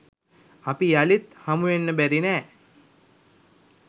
අපි යළිත් හමුවෙන්න බැරි නෑ.